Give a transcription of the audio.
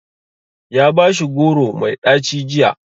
Ya bashi goro mai ɗaci jiya.